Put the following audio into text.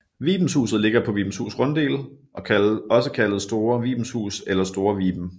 Vibenshuset ligger på Vibenshus Runddel også kaldet Store Vibenshus eller Store Viben